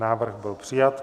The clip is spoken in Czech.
Návrh byl přijat.